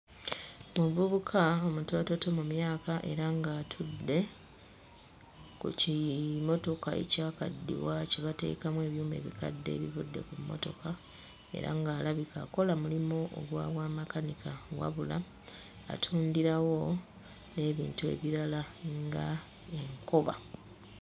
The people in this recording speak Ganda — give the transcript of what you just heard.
Omuvubuka omutoototo mu myaka era ng'atudde ku kimotoka ekyakaddiwa kye bateekamu ebyuma ebikadde ebivudde ku mmotoka era ng'alabika akola mulimu ogwa bwamakanika wabula atundirawo n'ebintu ebirala ng'enkoba.